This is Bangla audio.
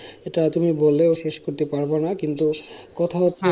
এটা তুমি বললেও শেষ করতে পারবো না, কিন্তু কথা হচ্ছে